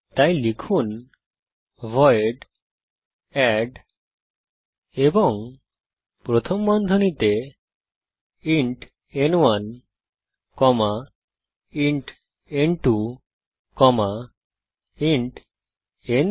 তাই লিখুন void add এবং প্রথম বন্ধনীতে ইন্ট ন1 কমা ইন্ট ন2 কমা ইন্ট ন3